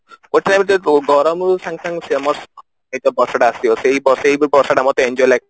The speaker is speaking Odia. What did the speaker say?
ଗୋଟେ time ରେ ଗରମ ରୁ ସାଙ୍ଗ ସାଙ୍ଗ ବର୍ଷା ଟା ଆସିବ ସେଇ ମତେ enjoy ଲାଗେ